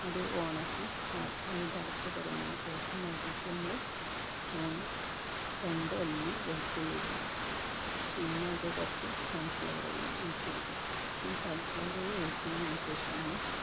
അത് on ആക്കി അഹ് അതിൻറെ അടപ്പ് തുറന്നേന് ശേഷം അതിലേക്ക് നമ്മള് ഏർ രണ്ട് അല്ലി വെളുത്തുള്ളി ഇടുക പിന്നെ അയ്ൽക്ക് കുറച്ച് sunflower oil ഒഴിച്ചൊടുക്കുക ഈ sunflower oil ഒഴിക്കണെയ്ന് അനുസരിച്ചിട്ടാണ്